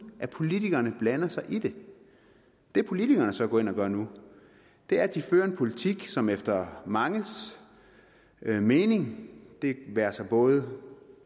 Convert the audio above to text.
at politikerne blander sig i det det politikerne så går ind og gør nu er at de fører en politik som efter manges mening det være sig både